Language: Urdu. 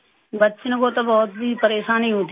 بچوں کو تو بہت ہی پریشانی ہوتی تھی